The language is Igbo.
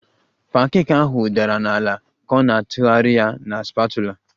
Pancake ahụ dara n'ala ka ọ na-atụgharị ya na spatula